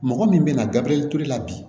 Mɔgɔ min bɛna gabriel ture la bi